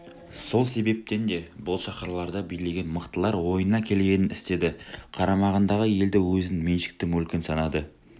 сол себептен де бұл шаһарларды билеген мықтылар ойына келгенін істеді қарамағындағы елді өзінің меншікті мүлкі санады